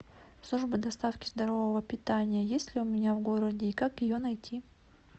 служба доставки здорового питания есть ли у меня в городе и как ее найти